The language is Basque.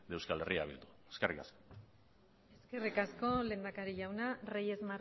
de euskal herria bildu eskerrik asko eskerrik asko lehendakari jauna reyes